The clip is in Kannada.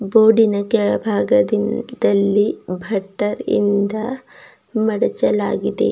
ಬೋರ್ಡಿನ ಕೆಳಭಾಗದಿ ದಲ್ಲಿ ಭಟ್ಟ ಇಂದ ಮಾಡಚಲಾಗಿದೆ.